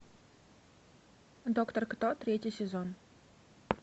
доктор кто третий сезон